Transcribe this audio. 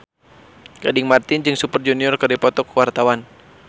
Gading Marten jeung Super Junior keur dipoto ku wartawan